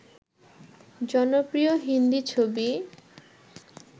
জনপ্রিয় হিন্দি ছবি